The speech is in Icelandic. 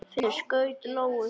Finnur skaut lóu.